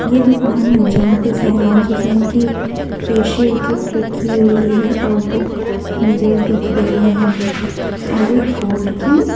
ये दुकान है जहाँ पे शहनाज हुसैन की फेशियल किट रखी हुई है और मिरर दिख रही है और एक गोल्ड की --